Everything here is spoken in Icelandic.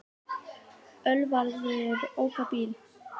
Ölvaður ók á bíl